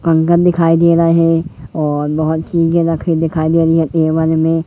कंगन दिखाई दे रहा है और बहोत चीजे रखी दिखाई दिखाई दे रही है में--